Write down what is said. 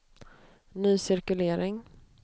ny cirkulering